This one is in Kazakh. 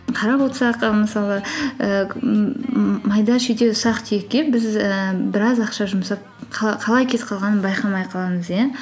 қарап отырсақ мысалы майда шүйде ұсақ түйекке біз ііі біраз ақша жұмсап қалай кетіп қалғанын байқамай қаламыз иә